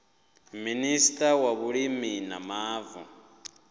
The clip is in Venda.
minista wa vhulimi na mavu